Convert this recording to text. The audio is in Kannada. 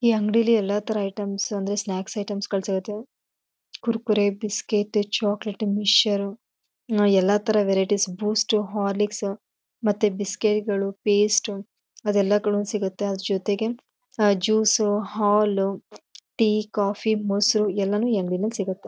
ಈ ಅಂಗಡಿಲಿ ಎಲ್ಲ ಥರ ಐಟೆಮ್ಸ ಅಂದ್ರೆ ಸ್ನಾಕ್ಸ್ ಐಟೆಮ್ಗಳ್ ಸಿಗತ್ತೆ. ಕುರ್ಕುರೆ ಬಿಸ್ಕೇಟ್ ಚಾಕೊಲೇಟ್ ಮಿಕ್ಷರ್ ಎಲ್ಲ ಥರ ವ್ಯರಟಿಸ್ ಬೂಸ್ಟ್ ಹಾರ್ಲಿಕ್ಸ್ ಮತ್ತೆ ಬಿಸ್ಗೆರಿಗಳು ಪೇಸ್ಟು ಅದೇಲ್ಲಾಗಳು ಸಿಗತ್ತೆ. ಜೊತೆಗೆ ಅಹ್ ಜೂಸು ಹಾಲು ಟೀ ಕಾಫಿ ಮೊಸರು ಎಲ್ಲಾನು ಈ ಅಂಗಡಿಲಿ ಸಿಗತ್ತೆ.